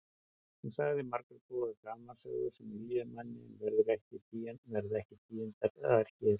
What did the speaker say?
Hún sagði margar góðar gamansögur sem yljuðu manni en verða ekki tíundaðar hér.